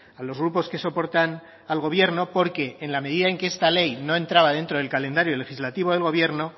a los grupos que soportan al gobierno porque en la medida en que esta ley no entraba dentro del calendario legislativo del gobierno